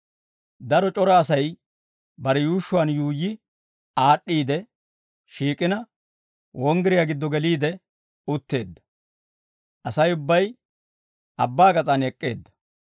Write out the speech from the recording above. Daro c'ora Asay bare yuushshuwaan yuuyyi aad'd'iide shiik'ina, wonggiriyaa giddo geliide utteedda; Asay ubbay abbaa gas'aan ek'k'eedda.